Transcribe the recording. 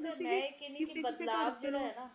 ਦੋਨੋ ਚੀਜ਼ਾਂ ਇੱਕਠੀਆਂ ਨਹੀਂ